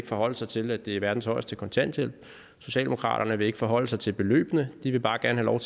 forholde sig til at det er verdens højeste kontanthjælp socialdemokratiet vil ikke forholde sig til beløbene de vil bare gerne lov